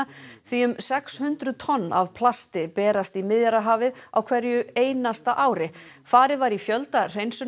því um sex hundruð tonn af plasti berast í Miðjarðarhafið á hverju einasta ári farið var í fjölda